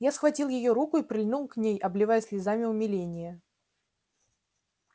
я схватил её руку и прильнул к ней обливая слезами умиления